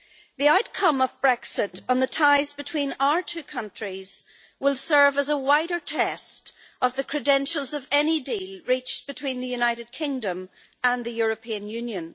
The outcome of Brexit on the ties between our two countries will serve as a wider test of the credentials of any deal reached between the United Kingdom and the European Union.